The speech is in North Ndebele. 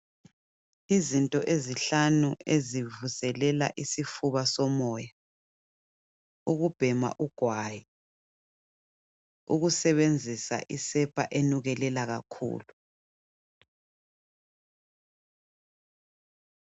Izinto ezinhlanu ezivuselela isifuba somoya, ukhubhema igwayi, ukusebenzisa isepa enukelela kakhulu.